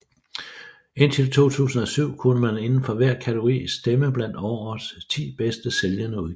Indtil 2007 kunne man inden for hver kategori stemme blandt årets ti bedst sælgende udgivelser